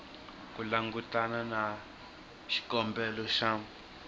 ku langutana na xikombelo xa